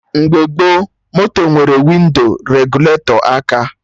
Mgbe gboo, moto nwere windo regụletọ aka